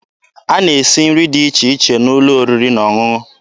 A na-esi nri dị iche iche n'ụlọ oriri na ọṅụṅụ.